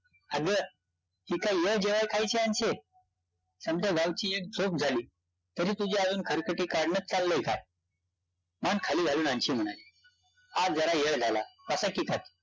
अगं, ही काय येळ जेवाय-खायची अन्शे? समद्या गावची एक झोपं झाली तरी तुझी अजून खातखात चाललयं का? मान खाली घालून अन्शी म्हणाली, आज जरा येळ झाल, बसा की